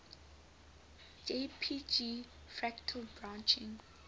jpg fractal branching